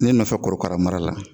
Ne nɔfɛ korokara mara la